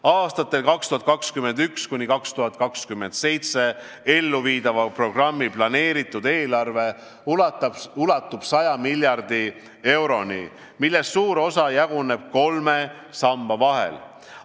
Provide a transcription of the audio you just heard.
Aastatel 2021–2027 elluviidava programmi planeeritud eelarve ulatub 100 miljardi euroni, millest suur osa jaguneb kolme samba vahel.